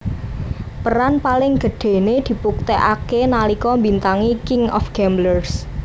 Peran paling gedhéné dibuktèkaké nalika mbintangi King Of Gamblers